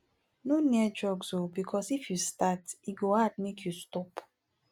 no near drugs o because if you start e go hard make you stop